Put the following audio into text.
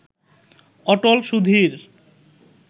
Atal Sudhir